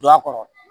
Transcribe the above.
Don a kɔrɔ